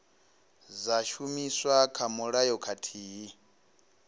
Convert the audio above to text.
dza shumiswa kha mulayo khathihi